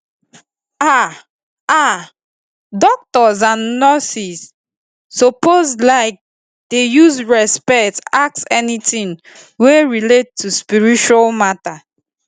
ah ah doctors and nurses suppose like dey use respect ask anytin wey relate to spiritual matter